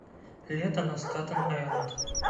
лето на статен айленд